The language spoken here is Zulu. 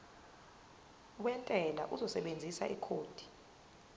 wentela uzosebenzisa ikhodi